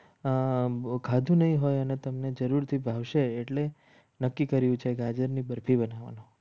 આંબો ખાધું નહિ હોય અને તમને જરૂરથી ભાવશે એટલે નક્કી કર્યું છે. ગાજરની બરફી બનાવવાનું